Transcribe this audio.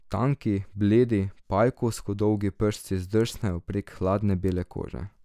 Tanki, bledi, pajkovsko dolgi prsti zdrsnejo prek hladne bele kože.